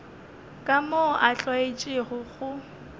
ka moo a tlwaetšego go